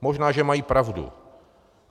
Možná že mají pravdu.